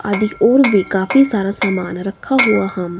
आदि और भी काफी सारा सामान रखा हुआ हम--